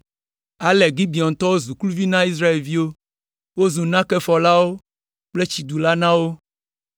Ale Gibeontɔwo zu kluviwo na Israelviwo, wozu nakefɔlawo kple tsidulawo na wo.